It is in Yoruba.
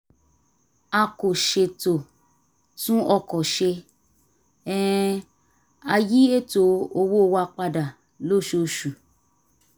a kò ṣètò tún ọkọ̀ ṣe um a yí ètò owó wa padà lóṣooṣù